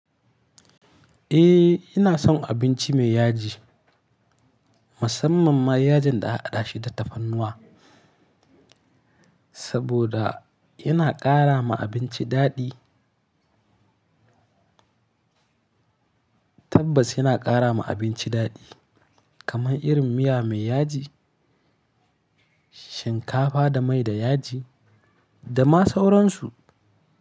Eh ina son abinci mai yaji, musamman ma yajin da aka hada shi da tafarnuwa saboda yana ƙara ma abinci daɗi. Tabas yana ƙara ma abinci daɗi kamar irin miya mai yaji, shinkafa da mai da yaji da ma sauransu.